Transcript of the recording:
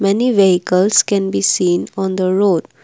many vehicles can be seen on the road.